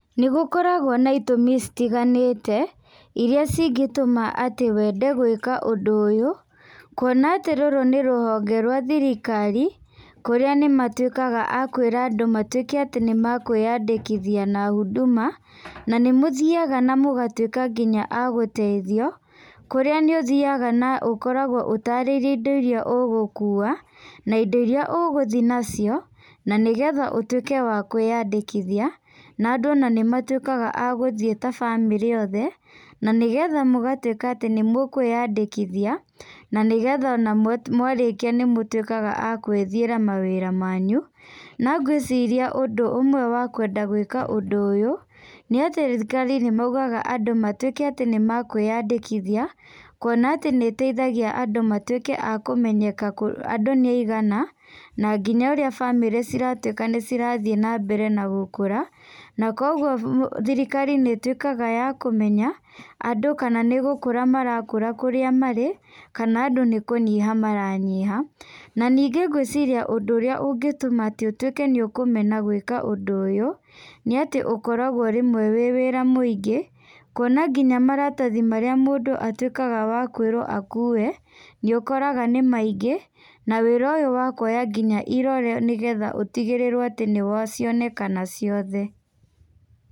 Nĩ gũkoragwo na itũmi citiganĩte, iria cingĩtũma atĩ wende gwĩka ũndũ ũyũ, kuona atĩ rũrũ nĩ rũhonge rwa thirikari, kũrĩa nĩ matuĩkaga a kwĩra andũ matuĩke nĩ makwĩyandĩkithia na Huduma, na nĩ mũthiaga na mũgatuĩka nginya a gũteithio. Kũrĩa nĩ ũthiaga na ũkoragwo ũtarĩirio indo iria ũgũkua, na indo iria ũgũthiĩ nacio, na nĩ getha ũtuĩke wa kwĩyandĩkithia, na andũ nĩ matuĩkaga a gũthiĩ ta bamĩrĩ othe, na nĩgetha mũgatuĩka atĩ nĩ mũkwĩyandĩkithia, na nĩgetha ona mwarĩkia nĩ mũtuĩkaga a gwĩthĩra mawĩra manyu. Na ngwĩciria ũndũ ũmwe wa kwenda gwĩka ũndũ ũyũ, nĩ atĩ thirikari nĩ maugaga andũ matuĩke atĩ nĩ mekweyandĩkithia, kuona atĩ nĩ ĩteithagia andũ matuĩke a kũmenyeka andũ nĩ aigana, na nginya ũrĩa bamĩrĩ ciratuĩka nĩ cirathiĩ na mbere na gũkũra, na koguo bũ thirikari nĩ ĩtuĩkaga yakũmenya, andũ kana nĩ gũkũra marakũra kũrĩa marĩ, kana andũ nĩ kũnyiha maranyiha. Na ningĩ gwĩciria ũndũ ũrĩa ũngĩtũma atĩ ũtuĩke nĩ ũkũmena gwĩka ũndũ ũyũ, nĩ atĩ rĩmwe ũkoragwo wĩ wĩra mũingĩ, kuona ngina maratathi marĩa mũndũ atuĩkaga wa kwĩrwo akuue, nĩ ũkoraga nĩ maingĩ, na wĩra ũyũ wa kuoya nginya irore nĩgetha ũtigĩrĩrwo atĩ nĩ wa, nĩ cionekana ciothe.